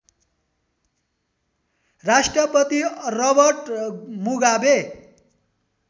Rashtrapati Robert Mugabe